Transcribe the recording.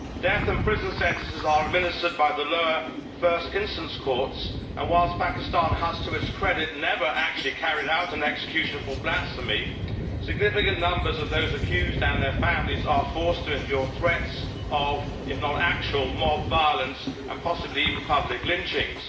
Death and prison sentences are administered by the lower first instance courts, and whilst Pakistan has, to its credit, never actually carried out an execution for blasphemy, significant numbers of those accused and their families are forced to endure threats of if not actual mob violence and possibly even public lynchings.